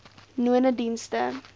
nonedienste